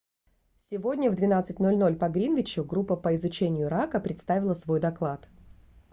сегодня в 12:00 по гринвичу группа по изучению ирака представила свой доклад